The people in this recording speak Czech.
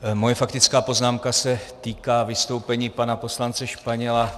Moje faktická poznámka se týká vystoupení pana poslance Španěla.